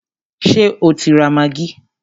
Ṣé o ti ra maggi?